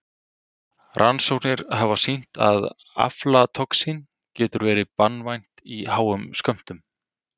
Rannsóknir hafa sýnt að aflatoxín getur verið banvænt í háum skömmtum.